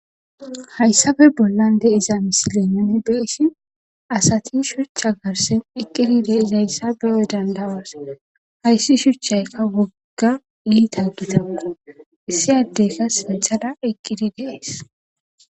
Hayisabe bollan deiza misilenani deissi asati shuchcha garsen eqqidi deis hayssabeyoy dandawas hayssi shuchchaykka wogga iita gitakku issi addeyka sinthada eqqidi dees